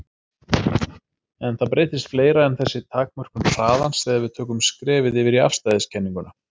En það breytist fleira en þessi takmörkun hraðans þegar við tökum skrefið yfir í afstæðiskenninguna.